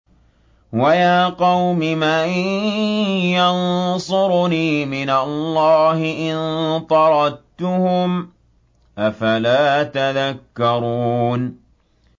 وَيَا قَوْمِ مَن يَنصُرُنِي مِنَ اللَّهِ إِن طَرَدتُّهُمْ ۚ أَفَلَا تَذَكَّرُونَ